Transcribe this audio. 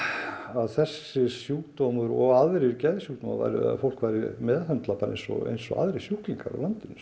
að þessi sjúkdómur og aðrir geðsjúkdómar að fólk yrði meðhöndlað eins og eins og aðrir sjúklingar á landinu